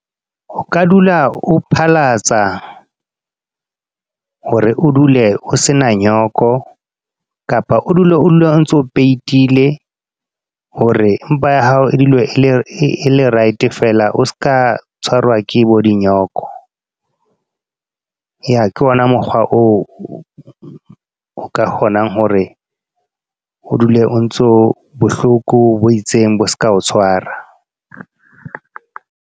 O ka dula o phalatsa, hore o dule o se na nyoko. Kapa o dule o dule ontso peitile. Hore, mpa ya hao e dule e le right feela, o seka a tshwarwa ke bo dinyoko. Eya ke ona mokgwa oo, o ka kgonang hore o dule o ntso, bohloko bo itseng bo seka o tshwara.